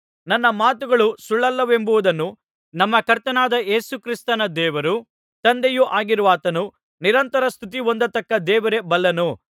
ನನ್ನ ಮಾತುಗಳು ಸುಳ್ಳಲ್ಲವೆಂಬುದನ್ನು ನಮ್ಮ ಕರ್ತನಾದ ಯೇಸು ಕ್ರಿಸ್ತನ ದೇವರೂ ತಂದೆಯೂ ಆಗಿರುವಾತನು ನಿರಂತರ ಸ್ತುತಿ ಹೊಂದತಕ್ಕ ದೇವರೇ ಬಲ್ಲನು